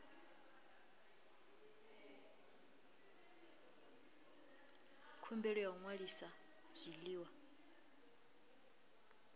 khumbelo ya u ṅwalisa zwiḽiwa